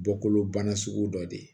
Bɔkolobana sugu dɔ de